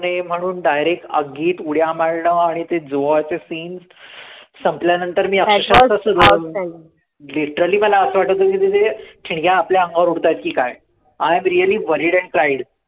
म्हणून direct आगीत उड्या मारणं आणि ते जौहरचा scene संपल्यानंतर मी literally मला असं वाटतं होतं की ते ठिणग्या आपल्या अंगावर उडतात की काय I am really worried and pride